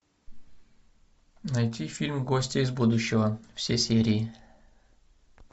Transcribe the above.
найти фильм гости из будущего все серии